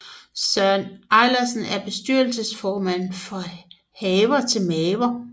Søren Ejlersen er bestyrelsesformand for Haver til Maver